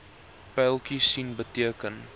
pyltjies sien beteken